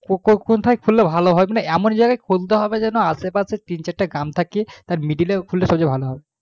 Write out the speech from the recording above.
কোথায় খুলবো বা কোথায় খুললে ভালো হয় তো এমন জায়গায় খুলতে হবে আসে পশে যেন তিন চারটা গ্রাম থাকে তার middle এ খুললে খুব ভালো হয়